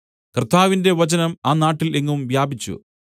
കർത്താവിന്റെ വചനം ആ നാട്ടിൽ എങ്ങും വ്യാപിച്ചു